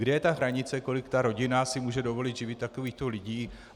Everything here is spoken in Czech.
Kde je ta hranice, kolik ta rodina si může dovolit živit takovýchto lidí?